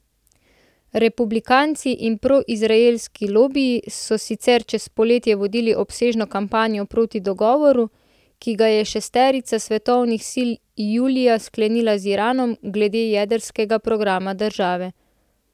Republikanci in proizraelski lobiji so sicer čez poletje vodili obsežno kampanjo proti dogovoru, ki ga je šesterica svetovnih sil julija sklenila z Iranom glede jedrskega programa države.